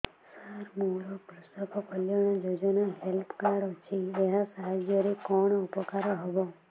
ସାର ମୋର କୃଷକ କଲ୍ୟାଣ ଯୋଜନା ହେଲ୍ଥ କାର୍ଡ ଅଛି ଏହା ସାହାଯ୍ୟ ରେ କଣ ଉପକାର ହବ